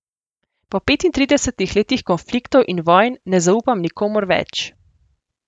Po petintridesetih letih konfliktov in vojn ne zaupam nikomur več.